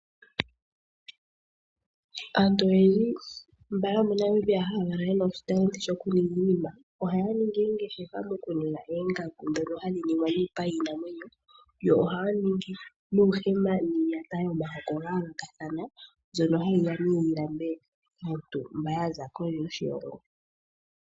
Aantu oyendji yomoNamibia mba yena oshitalenti shoku ninga iinima ohaya ningi oongeshefa dhoku ninga oongaku ndhono hadhi ningwa miipa yiinamwenyo, yo ohaya ningi nuuhema yiiyata yomihoko dha yoolokathana mbyoka hayi ya yi landwe kaantu mba yaza kondje yoshilomgo.